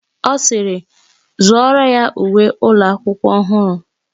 Ọ sịịrị, zụọrọ ya uwe ụlọakwụkwọ ọhụrụ!